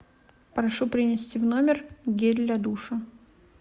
прошу принести в номер гель для душа